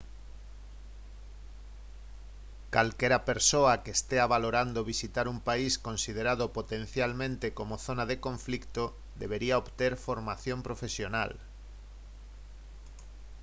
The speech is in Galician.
calquera persoa que estea valorando visitar un país considerado potencialmente como zona de conflito debería obter formación profesional